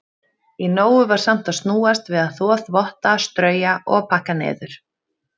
Í nógu var samt að snúast við að þvo þvotta, strauja og pakka niður.